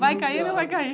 Vai cair ou não vai cair?